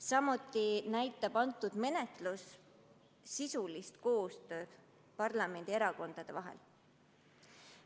Samuti näitab selle eelnõu menetlus sisulist koostööd parlamendierakondade vahel.